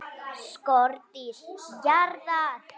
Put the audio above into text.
SKORDÝR JARÐAR!